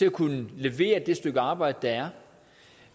at kunne levere det stykke arbejde der er